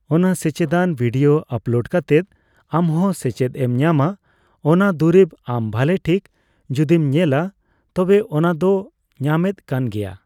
ᱚᱱᱟ ᱥᱮᱪᱮᱫᱟᱱ ᱵᱷᱤᱰᱭᱳᱭ ᱟᱯᱞᱳᱰ ᱠᱟᱛᱮᱫ ᱟᱢᱦᱚᱸ ᱥᱮᱪᱮᱫ ᱮᱢ ᱧᱟᱢᱟ ᱚᱱᱟ ᱫᱩᱨᱤᱵ ᱟᱢ ᱵᱷᱟᱞᱮ ᱴᱷᱤᱠ ᱡᱚᱫᱤᱢ ᱧᱮᱞᱟ ᱛᱚᱵᱮ ᱚᱱᱟ ᱫᱚ ᱧᱟᱢᱮᱫ ᱠᱟᱱ ᱜᱮᱭᱟ ᱾